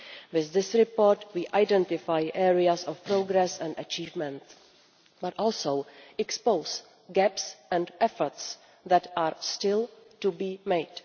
With this report we identify areas of progress and achievement, but also expose gaps and efforts that are still to be made.